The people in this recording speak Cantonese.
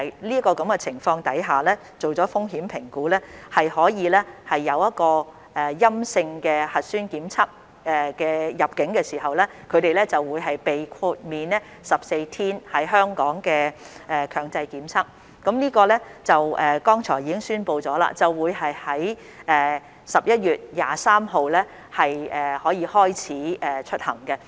在完成風險評估後，入境時持有陰性核酸檢測結果的人士，將可獲豁免在港接受14天強制檢疫，而剛才亦已宣布，該計劃將於11月23日開始實行。